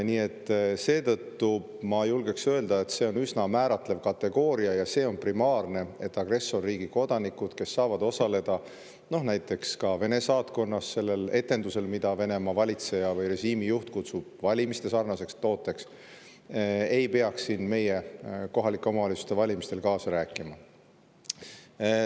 Nii et seetõttu ma julgeksin öelda, et see on üsna määratlev kategooria ja see on primaarne, et agressorriigi kodanikud, kes saavad osaleda näiteks ka Vene saatkonnas sellel etendusel, mida Venemaa valitseja või režiimi juht kutsub valimistesarnaseks tooteks, ei peaks siin meie kohalike omavalitsuste valimistel kaasa rääkima.